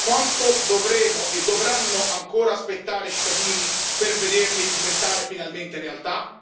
Quanto dovremo e dovranno ancora aspettare i cittadini per vederli diventare finalmente realtà?